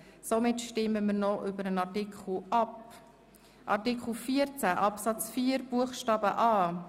Somit stimmen wir noch über Artikel 14 Absatz 4 Buchstabe ab.